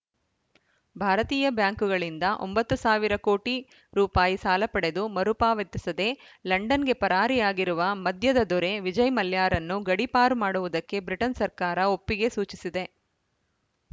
ಭಾರತೀಯ ಬ್ಯಾಂಕುಗಳಿಂದ ಒಂಬತ್ತು ಸಾವಿರ ಕೋಟಿ ರೂಪಾಯಿ ಸಾಲ ಪಡೆದು ಮರುಪಾವತಿಸದೇ ಲಂಡನ್‌ಗೆ ಪರಾರಿಯಾಗಿರುವ ಮದ್ಯದ ದೊರೆ ವಿಜಯ್‌ ಮಲ್ಯರನ್ನು ಗಡೀಪಾರು ಮಾಡುವುದಕ್ಕೆ ಬ್ರಿಟನ್‌ ಸರ್ಕಾರ ಒಪ್ಪಿಗೆ ಸೂಚಿಸಿದೆ